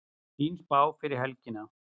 Fín spá fyrir helgina